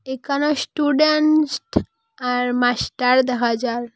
এখানে স্টুডেনস্ট আর মাস্টার দেখা যায়।